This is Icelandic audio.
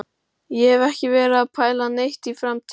Ég hef ekki verið að pæla neitt í framtíðinni.